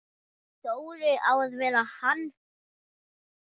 Dóri á að vera hann!